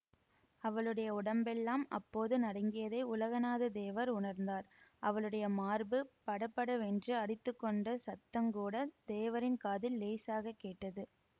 அவளுடைய உடம்பெல்லாம் அப்போது நடுங்கியதை உலகநாதத்தேவர் உணர்ந்தார் அவளுடைய மார்பு படபடவென்று அடித்துக்கொண்ட சத்தங்கூடத் தேவரின் காதில் இலேசாகக் கேட்டது